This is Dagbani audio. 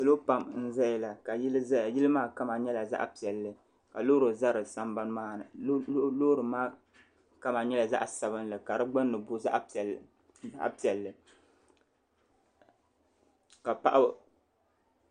Salo pam n zaya la ka yili zaya yili maa kama nyɛla zaɣi piɛlli ka loori za di sambani maa ni loori maa kama nyɛla zaɣi sabinli ka di gbunni booi zaɣi piɛlli ka paɣiba